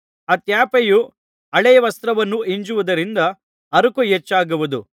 ಆ ತ್ಯಾಪೆಯು ಹಳೇ ವಸ್ತ್ರವನ್ನು ಹಿಂಜುವುದರಿಂದ ಹರಕು ಹೆಚ್ಚಾಗುವುದು